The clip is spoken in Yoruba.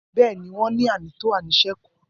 Bẹẹni, won ni ànítò àtí àníṣẹkú.